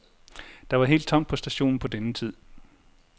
Der var helt tomt på stationen på denne tid.